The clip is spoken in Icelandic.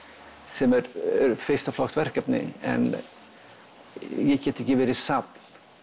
sem eru fyrsta flokks verk en ég get ekki verið safn